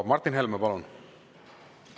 Martin Helme, palun!